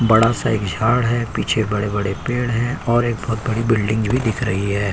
बड़ा सा एक झाड़ है। पीछे बड़े बड़े पेड़ हैं और एक बहोत बड़ी बिल्डिंग भी दिख रही है।